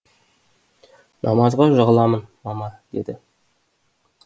намазға жығыламын мама деді